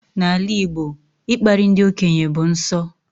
N'ala Igbo, ịkparị ndị okenye bụ nsọ